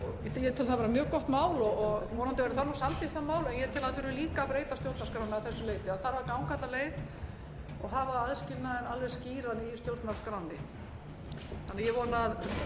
það vera mjög gott mál og vonandi verður það samþykkt það mál en ég tel að það þurfi líka að breyta stjórnarskránni að þessu leyti það þarf að ganga alla leið og hafa aðskilnaðinn alveg skýran í stjórnarskránni þannig að ég vona að